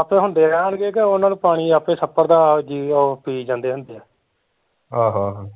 ਆਪੇ ਹੁਦੇ ਰਹਿਣਗੇ ਕਿ ਓਹਨਾਂ ਨੂੰ ਪਾਣੀ ਆਪੇ ਛੱਪੜ ਦਾ ਓਹ ਪੀਈ ਜਾਂਦੇ ਹੁੰਦੇ ਆ ਹਮ